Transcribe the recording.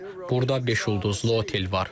Burda beş ulduzlu otel var.